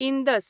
Indus